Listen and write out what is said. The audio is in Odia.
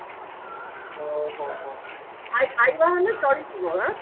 ଓ ହୋ ହୋ ହୋ ଖା ଖାଇବା ମାନେ ଚଳିଯିବ